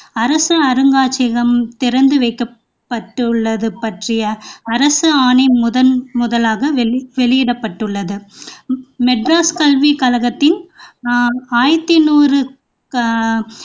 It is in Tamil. அரசு அருங்காட்சியகம் திறந்து வைக்கப்பட்டுள்ளது பற்றிய அரசு ஆணை முதன்முதலாக வெளி வெளியிடப்பட்டுள்ளது மெட்ராஸ் கல்விக் கழகத்தின் ஆஹ் ஆயிரத்து நூறு ஆஹ்